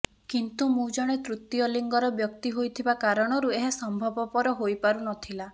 କିନ୍ତୁ ମୁଁ ଜଣେ ତୃତୀୟ ଲିଙ୍ଗର ବ୍ୟକ୍ତି ହୋଇଥିବା କାରଣରୁ ଏହା ସମ୍ଭବପର ହୋଇପାରୁ ନଥିଲା